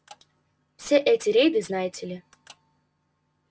все эти рейды знаете ли